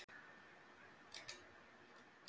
Magnús Hlynur: Og hvers konar steinar eru þetta aðallega?